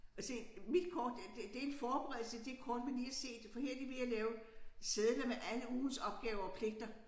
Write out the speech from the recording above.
Og se mit kort øh det det en forberedelse det kort vi lige har set for her er de ved at lave sedler med alle ugens opgaver og pligter